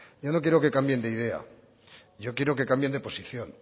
yo no quiero que cambien de idea yo quiero que cambien de posición